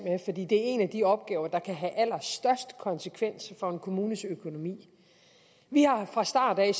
det er en af de opgaver der kan have allerstørst konsekvens for en kommunes økonomi vi har fra starten